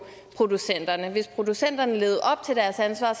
producenterne hvis producenterne levede op til deres ansvar